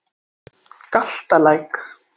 Galtalæk